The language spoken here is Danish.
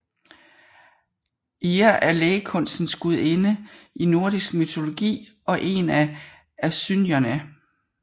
Eir er lægekunstens gudinde i nordisk mytologi og er en af asynjerne